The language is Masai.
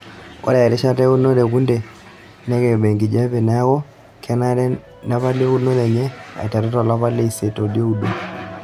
Ore erishata eunore ekunde nakeiba enkijiape neaku kenare nepali eunore enye aiteru tolapa leisiet olioudo.